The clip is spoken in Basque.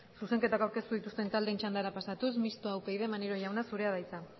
zuzenketako aurkeztu dituzten taldeen txandara pasatuz mistoa upyd maneiro jauna zurea da hitza